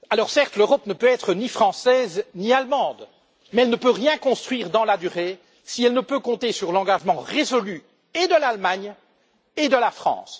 Certes, l'Europe ne peut être ni française, ni allemande, mais elle ne peut rien construire dans la durée si elle ne peut compter sur l'engagement résolu et de l'Allemagne et de la France.